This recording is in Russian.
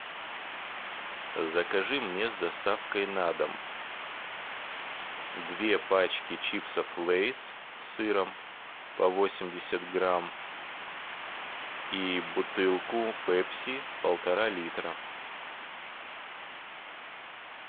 закажи мне с доставкой на дом две пачки чипсов лейс с сыром по восемьдесят грамм и бутылку пепси полтора литра